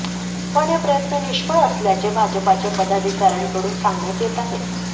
पण हे प्रयत्न निष्फळ असल्याचे भाजपाचे पदाधिकाऱ्यांकडून सांगण्यात येत आहे